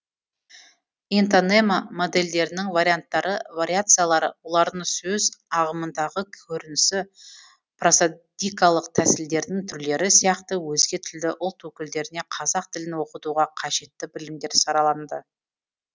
интонема модельдерінің варианттары вариациялары олардың сөз ағымындағы көрінісі просодикалық тәсілдердің түрлері сияқты өзге тілді ұлт өкілдеріне қазақ тілін оқытуға қажетті білімдер сараланды